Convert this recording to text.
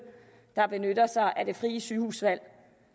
der benytter sig af det frie sygehusvalg